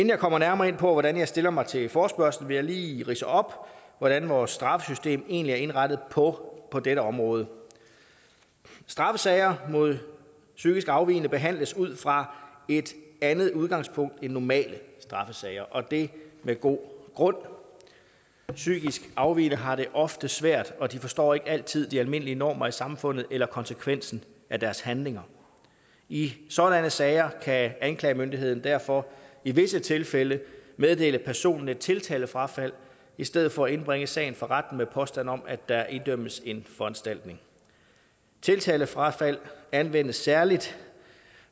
jeg kommer nærmere ind på hvordan jeg stiller mig til forespørgslen vil jeg lige ridse op hvordan vores straffesystem egentlig er indrettet på på dette område straffesager mod psykisk afvigende behandles ud fra et andet udgangspunkt end normale straffesager og det er med god grund psykisk afvigende har det ofte svært og de forstår ikke altid de almindelige normer i samfundet eller konsekvensen af deres handlinger i sådanne sager kan anklagemyndigheden derfor i visse tilfælde meddele personen et tiltalefrafald i stedet for at indbringe sagen for retten med påstand om at der idømmes en foranstaltning tiltalefrafald anvendes særlig